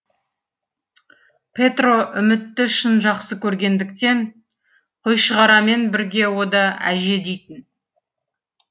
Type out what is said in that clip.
петро үмітті шын жақсы көргендіктен қойшығарамен бірге о да әже дейтін